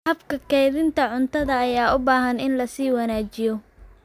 Habka kaydinta cuntada ayaa u baahan in la sii wanaajiyo.